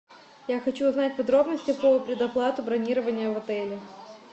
я хочу узнать подробности про предоплату бронирования в отеле